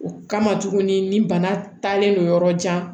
O kama tuguni ni bana taalen don yɔrɔ jan